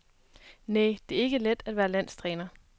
Næ, det er ikke let at være landstræner.